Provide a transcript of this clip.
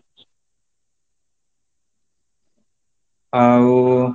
ଆଉ